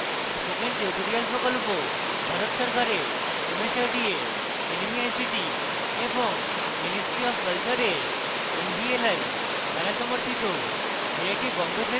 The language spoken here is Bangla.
spoken tutorial project ভারত সরকারের mhrd এর nmeict এবং ministry অফ কলচারের nvli দ্বারা সমর্থিত